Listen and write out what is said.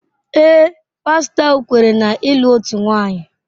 Ee, pastọ ahụ kweere na ịlụ otu nwanyị.